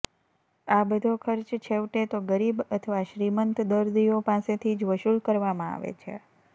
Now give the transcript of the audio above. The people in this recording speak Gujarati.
આ બધો ખર્ચ છેવટે તો ગરીબ અથવા શ્રીમંત દર્દીઓ પાસેથી જ વસૂલ કરવામાં આવે છે